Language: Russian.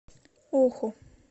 оху